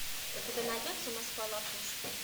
у тебя найдется москва лопушки